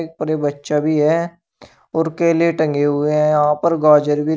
और ये बच्चा भी है और केले टंगे हुए हैं यहां पर गाजर भी--